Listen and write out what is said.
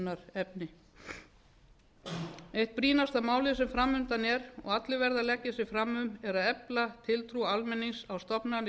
er auðvitað umhugsunarefni eitt brýnasta málið sem fram undan er og allir verða að leggja sig fram um er að efla tiltrú almennings á stofnanir